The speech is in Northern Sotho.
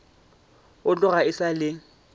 go tloga e sa le